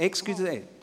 Entschuldigung!